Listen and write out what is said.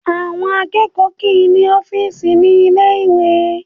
Àwọn akẹ́kọ̀ọ́ kì í ní ọ́fíìsì ní ilé ìwé